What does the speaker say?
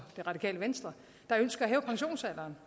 det radikale venstre der ønsker at hæve pensionsalderen